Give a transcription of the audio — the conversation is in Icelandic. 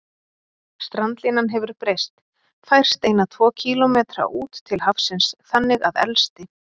Strandlínan hefur breyst, færst eina tvo kílómetra út til hafsins, þannig að elsti